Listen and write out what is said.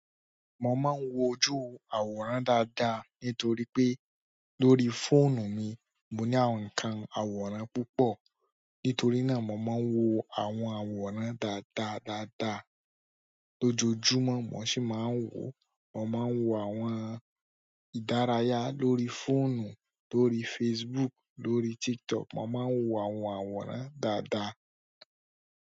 Mo máa ń wojú àwòrán dáadáa nítorí pé lórí fóònù mi mo ní àwọn ǹkan, àwòrán púpọ̀. Nítorí náà mo máa ń wo àwọn àwòrán dáadáa dáadáa lójoojúmọ́. Mo sì máa ń wo, mo máa ń wo àwọn ìdárayá lórí fóònù, lórí Facebook, lórí TikTok, mo máa ń wo àwọn àwòrán dáadáa.